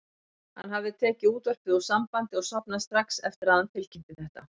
Hann hafði tekið útvarpið úr sambandi og sofnað strax eftir að hann tilkynnti þetta.